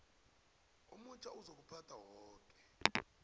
omutjha ozokuphatha woke